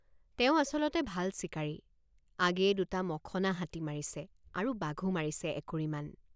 তেওঁ আচলতে ভাল চিকাৰীআগেয়ে দুটা মখনা হাতী মাৰিছে আৰু বাঘো মাৰিছে একুৰিমান।